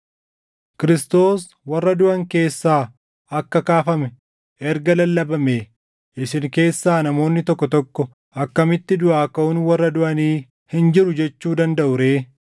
Kiristoos warra duʼan keessaa akka kaafame erga lallabamee, isin keessaa namoonni tokko tokko akkamitti duʼaa kaʼuun warra duʼanii hin jiru jechuu dandaʼu ree?